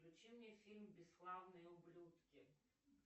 включи мне фильм бесславные ублюдки